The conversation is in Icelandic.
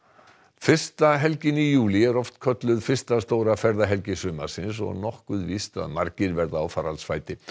fyrsta helgin í júlí er oft kölluð fyrsta stóra ferðahelgi sumarsins og nokkuð víst að margir verða á faraldsfæti